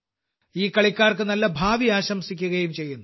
ഈ കളിക്കാർക്ക് നല്ല ഭാവി ആശംസിക്കുകയും ചെയ്യുന്നു